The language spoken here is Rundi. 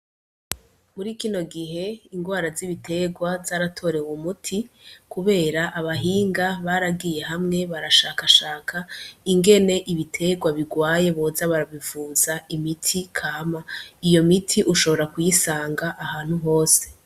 Muri kino gihe ingwara z'ibiterwa zaratorew'umuti kubera abahinga baragiye hamwe barashakashaka ingene ibiterwa bigwaye boza barabivuza imiti kama, iyo miti ushobora kuyisanga ahantu hose.